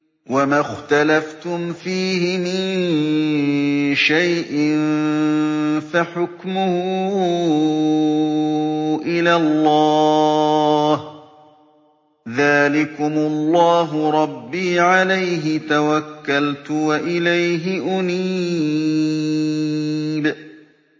وَمَا اخْتَلَفْتُمْ فِيهِ مِن شَيْءٍ فَحُكْمُهُ إِلَى اللَّهِ ۚ ذَٰلِكُمُ اللَّهُ رَبِّي عَلَيْهِ تَوَكَّلْتُ وَإِلَيْهِ أُنِيبُ